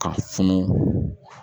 Ka funu